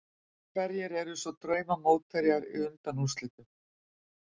Hverjir eru svo drauma mótherjar í undanúrslitum?